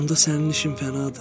Onda sənin işin fənadır.